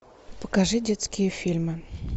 покажи детские фильмы